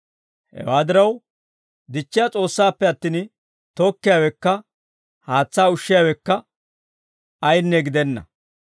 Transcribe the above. Hewaa diraw, dichchiyaa S'oossaappe attin, tokkiyaawekka haatsaa ushshiyaawekka ayaanne gidenna.